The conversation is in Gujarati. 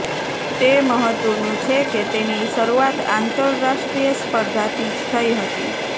તે મહત્વનું છે કે તેની શરૂઆત આંતરરાષ્ટ્રીય સ્પર્ધાથી જ થઈ હતી